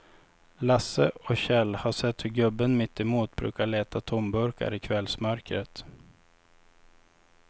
Lasse och Kjell har sett hur gubben mittemot brukar leta tomburkar i kvällsmörkret.